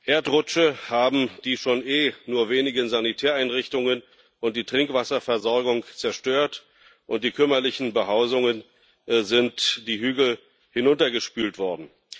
Erdrutsche haben die eh schon wenigen Sanitäreinrichtungen und die Trinkwasserversorgung zerstört, und die kümmerlichen Behausungen sind die Hügel hinuntergespült worden.